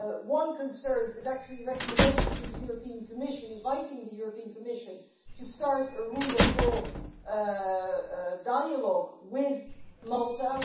One is a recommendation to the European Commission, inviting the European Commission to start a rule of law dialogue with Malta.